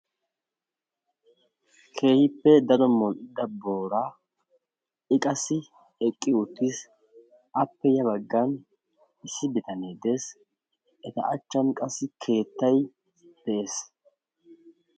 Keehippe daro modhdhida booraa; I qassi eqqi uttiis appe ya baggan issi bitanne de'ees; eta achchan qassi keettay de'ees.